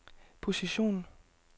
position